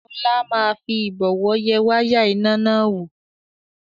Ọlá máa fi Ìbọ̀wọ́ yẹ wáyà iná náà wò